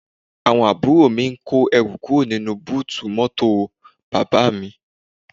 Àwọn àbúrò mi ń kó ẹrù kúrò nínú búùtù mọ́tò bàbá mi